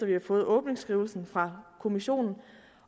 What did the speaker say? vi har fået åbningsskrivelsen fra kommissionen